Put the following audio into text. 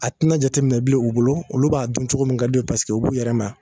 A tɛ na jateminɛ bilen u bolo olu b'a dun cogo min ka d'u ye u b'u yɛrɛ ma